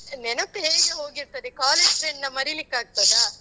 ನೆನಪು ಹೇಗೆ ಹೋಗಿರ್ತದೆ? college friend ನ ಮರಿಲಿಕ್ಕಾಗ್ತದಾ?